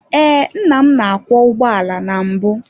Ee, nna m na-akwọ ụgbọala na mbụ.